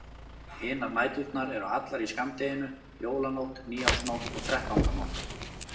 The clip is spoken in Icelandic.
Hinar næturnar eru allar í skammdeginu: Jólanótt, nýársnótt og þrettándanótt.